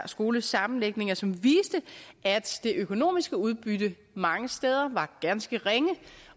skolesammenlægninger som viste at det økonomiske udbytte mange steder var ganske ringe